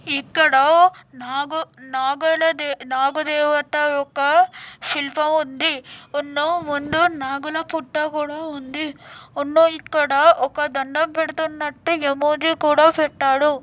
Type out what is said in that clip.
ఇక్కడ నాగ--నాగ--నాగ-- నాగదేవత యొక్క శిల్పం ఉంది. ముందు నాగుల పుట్ట కూడా ఉంది . ఇక్కడ దండం పెద్తున్నట్టు ఏమోజి కూడా ఉంది.